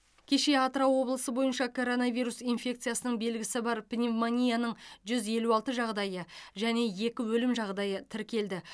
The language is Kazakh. кеше атырау облысы бойынша коронавирус инфекциясының белгісі бар пневмонияның жүз елу алты жағдайы және екі өлім жағдайы тіркелді